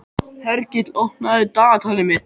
Hergill, opnaðu dagatalið mitt.